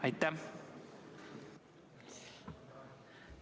Aitäh!